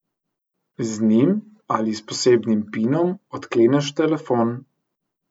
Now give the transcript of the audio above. Z njim ali s posebnim pinom odkleneš telefon.